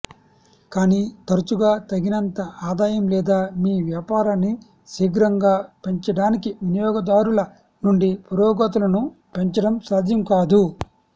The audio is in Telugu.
కానీ తరచుగా తగినంత ఆదాయం లేదా మీ వ్యాపారాన్ని శీఘ్రంగా పెంచడానికి వినియోగదారుల నుండి పురోగతులను పెంచడం సాధ్యం కాదు